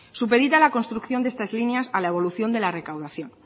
supedita la construcción de estas líneas a la evolución de la recaudación